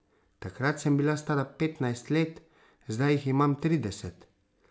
Takrat sem bila stara petnajst let, zdaj jih imam trideset.